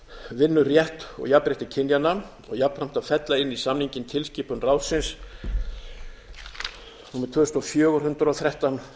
vinnurétt og jafnrétti kynjanna og jafnframt að fella inn í samninginn tilskipun ráðsins númer tvö þúsund og fjögur hundrað og þrettán